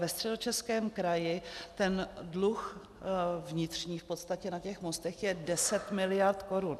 Ve Středočeském kraji ten dluh vnitřní v podstatě na těch mostech je 10 mld. korun.